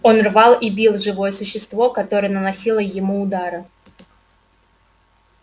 он рвал и бил живое существо которое наносило ему удары